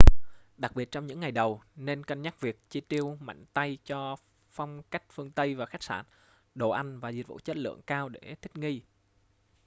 đặc biệt trong những ngày đầu nên cân nhắc việc chi tiêu mạnh tay cho phong cách phương tây và khách sạn đồ ăn và dịch vụ chất lượng cao để thích nghi